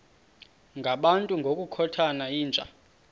ngabantu ngokukhothana yinja